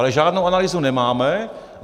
Ale žádnou analýzu nemáme.